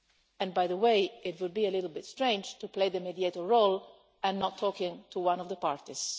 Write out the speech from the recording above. And, by the way, it would be a little bit strange to play the mediator role and not talk to one of the parties.